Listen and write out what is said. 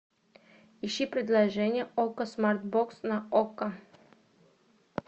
ищи предложение окко смарт бокс на окко